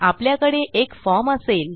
आपल्याकडे एक फॉर्म असेल